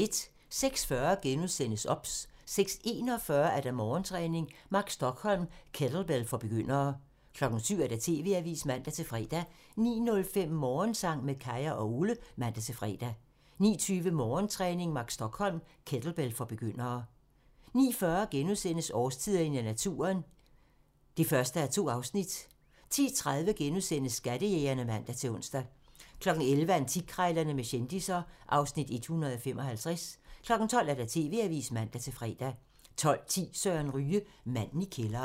06:40: OBS *(man) 06:41: Morgentræning: Mark Stokholm - kettlebell for begyndere 07:00: TV-avisen (man-fre) 09:05: Morgensang med Kaya og Ole (man-fre) 09:20: Morgentræning: Mark Stokholm - kettlebell for begyndere 09:40: Årstiderne i naturen (1:2)* 10:30: Skattejægerne *(man-ons) 11:00: Antikkrejlerne med kendisser (Afs. 155) 12:00: TV-avisen (man-fre) 12:10: Søren Ryge: Manden i kælderen